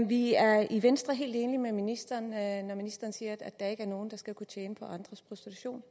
vi er i venstre helt enige med ministeren når ministeren siger at der ikke er nogen der skal kunne tjene på andres prostitution